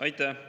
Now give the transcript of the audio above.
Aitäh!